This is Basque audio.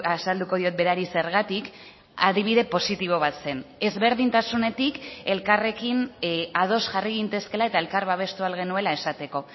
azalduko diot berari zergatik adibide positibo bat zen ezberdintasunetik elkarrekin ados jarri gintezkeela eta elkar babestu ahal genuela esateko